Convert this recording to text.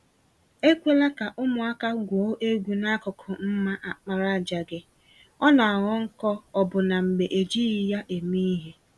Ekwela ka ụmụaka gwuo egwu n'akụkụ mma àkpàràjà gị - ọ naghọ nkọ ọbụna mgbe ejighi ya eme ìhè.